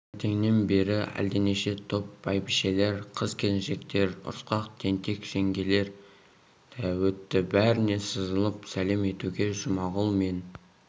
таңертеңнен бері әлденеше топ бәйбішелер қыз-келіншектер ұрысқақ тентек жеңгелер өтті бәріне сызылып сәлем етуге жұмағұл мен